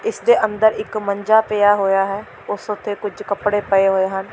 ਇਸ ਦੇ ਅੰਦਰ ਇੱਕ ਮੰਜਾ ਪਿਆ ਹੋਇਆ ਹੈ ਉਸ ਉੱਤੇ ਕੁਝ ਕੱਪੜੇ ਪਏ ਹੋਏ ਹਨ।